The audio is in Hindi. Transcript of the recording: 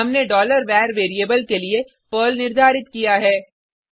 हमने var वेरिएबल के लिए पर्ल निर्धारित किया है